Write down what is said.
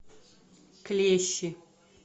клещи